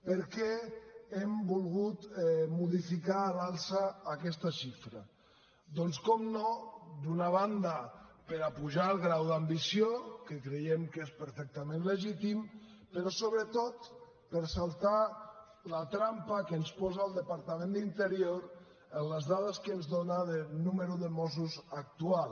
per què hem volgut modificar a l’alça aquesta xifra doncs per descomptat d’una banda per apujar el grau d’ambició que creiem que és perfectament legítim però sobretot per saltar la trampa que ens posa el departament d’interior en les dades que ens dóna del nombre de mossos actual